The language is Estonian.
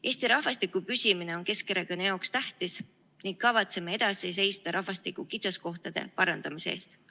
Eesti rahvastiku püsimine on Keskerakonna jaoks tähtis ning kavatseme edasi seista rahvastiku kitsaskohtade parandamise eest.